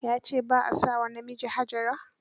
Ya ce ba a sa wa namiji Hajara